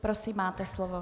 Prosím, máte slovo.